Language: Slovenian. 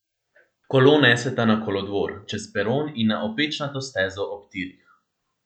Kolo neseta na kolodvor, čez peron in na opečnato stezo ob tirih.